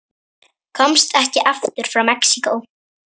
Komst ekki aftur frá Mexíkó